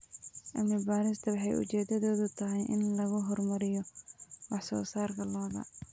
Cilmi-baaristan waxay ujeedadeedu tahay in lagu horumariyo wax-soo-saarka lo'da.